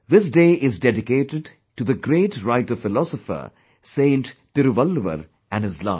This day is dedicated to the great writerphilosophersaint Tiruvalluvar and his life